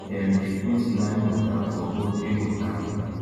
dem dey put lime water for poultry water